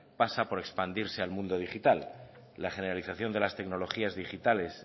pasa por expandirse al mundo digital la generalización de las tecnologías digitales